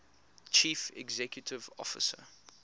chief executive officer